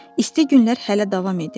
İsti günlər hələ davam edirdi.